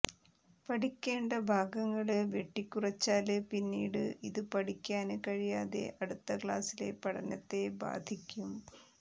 പഠിക്കേണ്ട ഭാഗങ്ങള് വെട്ടിക്കുറച്ചാല് പിന്നീടു ഇതു പഠിക്കാന് കഴിയാതെ അടുത്ത ക്ലാസിലെ പഠനത്തെ ബാധിക്കും